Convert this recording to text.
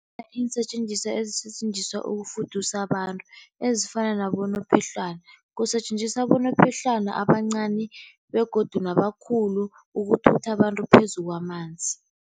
Iinsetjenziswa ezisetjenziswa ukufudusa abantu, ezifana nabonophehlwana. Kusetjenziswa abonophehlwana abancani begodu nabakhulu ukuthutha abantu phezu kwamanzi.